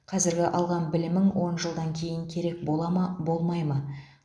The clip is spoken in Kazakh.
қазіргі алған білімің он жылдан кейін керек бола ма болмай ма